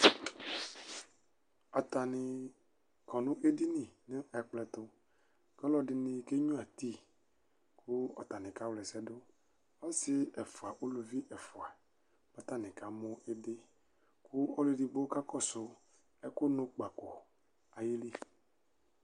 Atani kɔnʋ edini nʋ ɛkplɔ ɛtʋ, kʋ ɔlɔdini kenyua ti, kʋ ɔtani kawla ɛsɛdʋ, ɔsi efʋa ʋlʋvi ɛfʋa, kʋ atani kamʋ ɩdɩ, kʋ ɔlʋ edigbo kakɔsʋ ɛkʋ nʋ kpakɔ ayili.